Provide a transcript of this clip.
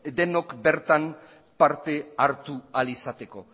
denok bertan parte hartu ahal izateko